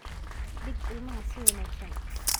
dhig ilmaha si wanaagsan.